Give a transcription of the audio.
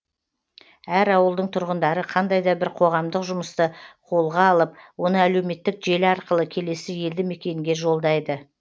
әр ауылдың тұрғындары қандай да бір қоғамдық жұмысты қолға алып оны әлеуметтік желі арқылы келесі елді мекенге жолдайды